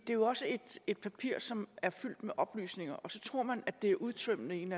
jo også et papir som er fyldt med oplysninger og så tror man at det er udtømmende i en